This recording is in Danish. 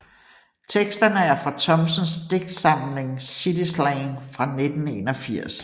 Teksterne er fra Thomsens digtsamling City slang fra 1981